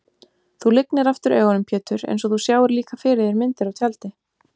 Þú lygnir aftur augunum Pétur einsog þú sjáir líka fyrir þér myndir á tjaldi.